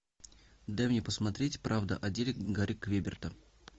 дай мне посмотреть правда о деле гарри квеберта